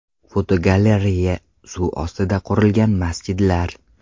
Fotogalereya: Suv ustiga qurilgan masjidlar.